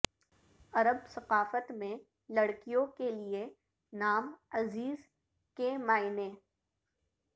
عرب ثقافت میں لڑکیوں کے لئے نام عزیز کے معنی